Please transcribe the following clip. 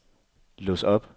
lås op